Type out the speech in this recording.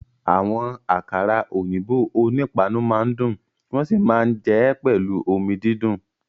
Àwọn àkàrà òyìnbó onípáànù máa ń dùn wọ́n sì máa ń jẹ ẹ́ pẹ̀lú omi dídùn